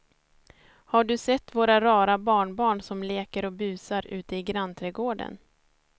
Har du sett våra rara barnbarn som leker och busar ute i grannträdgården!